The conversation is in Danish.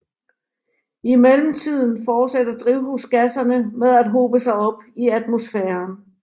I mellemtiden fortsætter drivhusgasserne med at hobe sig op i atmosfæren